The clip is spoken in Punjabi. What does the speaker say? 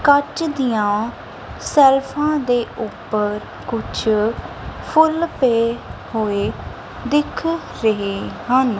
ਕੱਚ ਦੀਆਂ ਸੈਲਫਾਂ ਦੇ ਉੱਪਰ ਕੁਛ ਫੁੱਲ ਪਏ ਹੋਏ ਦਿਖ ਰਹੇ ਹਨ।